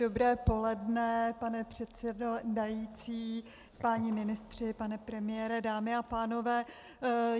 Dobré poledne, pane předsedající, páni ministři, pane premiére, dámy a pánové.